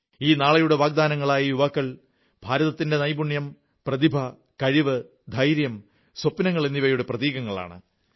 ഈ നാളെയുടെ വാഗ്ദാനങ്ങളായ യുവാക്കൾ ഭാരതത്തിന്റെ നൈപുണ്യം പ്രതിഭ കഴിവ് ധൈര്യം സ്വപ്നങ്ങൾ എന്നിവയുടെ പ്രതീകങ്ങളാണ്